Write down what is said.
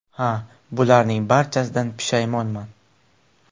Ha, bularning barchasidan pushaymonman.